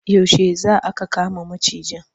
Yaushe za aka kama macijin?